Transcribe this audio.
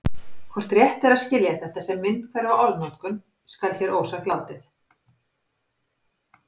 Hvort rétt er að skilja þetta sem myndhverfa orðnotkun skal hér ósagt látið.